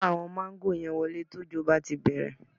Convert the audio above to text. Kó àwọn máńgò yẹn wọlé tí òjò bá ti bẹ̀rẹ̀